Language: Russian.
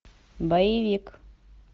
боевик